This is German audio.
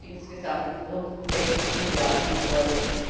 insgesamt rund sechs Milliarden Euro.